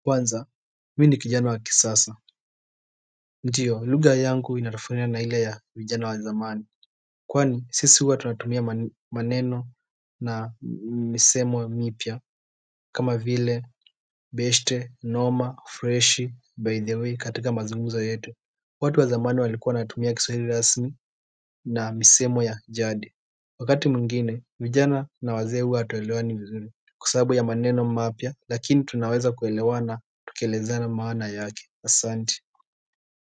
Kwanza, mimi ni kijana wa kisasa. Ndiyo, lugha yangu inatofautiana na ile ya vijana wa zamani kwani sisi huwa tunatumia maneno na misemo mipya kama vile, beshte, noma, fresh, by the way katika mazungumzo yetu. Watu wa zamani walikuwa wanatumia kiswahili rasmi na misemo ya jadi. Wakati mwingine, vijana na wazee huwa hatuelewani vizuri kwa sababu ya maneno mapya lakini tunaweza kuelewana tukielezana maana yake Asante.